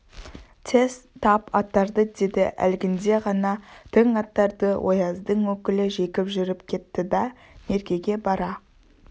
тез тап аттарды деді әлгінде ғана тың аттарды ояздың өкілі жегіп жүріп кетті да меркеге бара